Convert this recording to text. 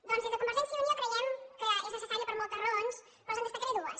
doncs des de convergència i unió creiem que és necessària per moltes raons però els en destacaré dues